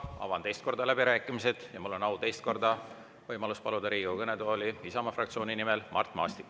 Avan teist korda läbirääkimised ja mul on au teist korda paluda Riigikogu kõnetooli Isamaa fraktsiooni nimel Mart Maastik.